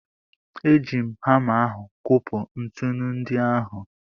E ji m hama ahụ kopụ ntụnụ ndị ahụ.